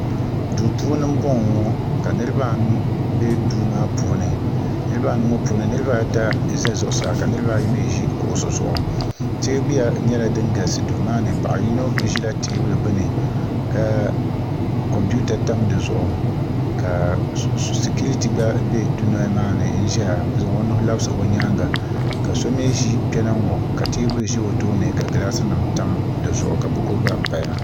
do puuni n bɔŋɔ ŋɔ ka niribaanu bɛ do ŋɔ puuni niribaanu ŋɔ puuni niribaata za zuɣ' saa ka niribaayi mi ʒɛ kuɣisi zuɣ' tɛbuya nyɛla din galisi do maa ni paɣ' yino ʒɛ tɛbuli gbani ka kompita tam si zuɣ' ka sikiritɛ gba dunoli maani n ʒɛya n zaŋ o nuuhi labisi k nyɛŋa ka so mi ʒɛ kpɛna ŋɔ ka tɛbuli ʒɛ o tuuni ka gilasi nim tam di zuɣ' ka buku gba paya